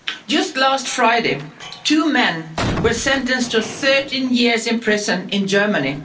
Just last Friday, two men were sentenced to 13 years in prison in Germany.